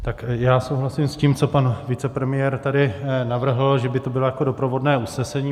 Tak já souhlasím s tím, co pan vicepremiér tady navrhl, že by to bylo jako doprovodné usnesení.